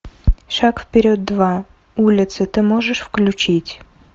шаг вперед два улицы ты можешь включить